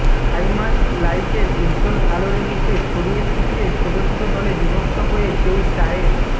high mast লাইটের উজ্জ্বল আলোর নীচে ছড়িয়ে ছিটিয়ে ছোট ছোট দলে বিভক্ত হয়ে কেউ চায়ের